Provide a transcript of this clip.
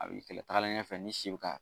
A b'i kɛlɛ, tagalen ɲɛfɛ n'i si bɛ ka